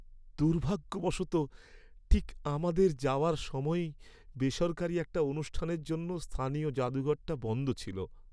দুর্ভাগ্যবশত, ঠিক আমাদের যাওয়ার সময়েই বেসরকারি একটা অনুষ্ঠানের জন্য স্থানীয় জাদুঘরটা বন্ধ ছিল।